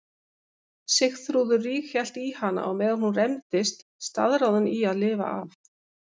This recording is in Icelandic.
Sigþrúður ríghélt í hana á meðan hún rembdist, staðráðin í að lifa af.